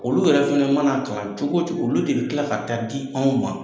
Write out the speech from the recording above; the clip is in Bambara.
Olu yɛrɛ fana mana kalan cogocogo olu de bɛ kila ka taa di anw ma.